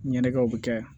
Ɲɛnajɛw bi kɛ